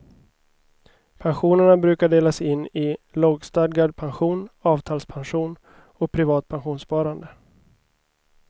Pensionerna brukar delas in i lagstadgad pension, avtalspension och privat pensionssparande.